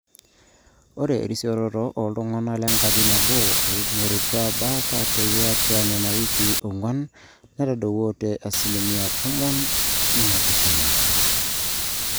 ore erisioroto ooltung'anak lenkaji nabo oing'orutua baata tiatwa nena wikii ong'wan netadowuo te asilimia tomon oopishana